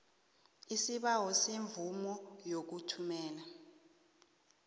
isibawo semvumo yokuthumela